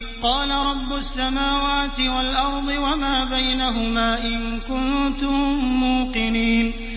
قَالَ رَبُّ السَّمَاوَاتِ وَالْأَرْضِ وَمَا بَيْنَهُمَا ۖ إِن كُنتُم مُّوقِنِينَ